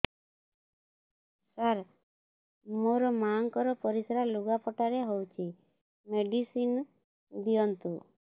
ସାର ମୋର ମାଆଙ୍କର ପରିସ୍ରା ଲୁଗାପଟା ରେ ହଉଚି ମେଡିସିନ ଦିଅନ୍ତୁ